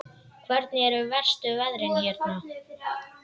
Hvernig eru verstu veðrin hérna?